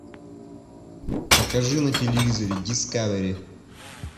покажи на телевизоре дискавери